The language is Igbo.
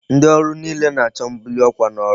Ndi oru niile na-acho mbuli n'okwa n'ọrụ ha.